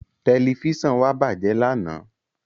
Tẹ̀lifísàn wa bájẹ̀ lánàá